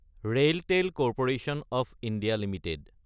RailTel corporation of India Ltd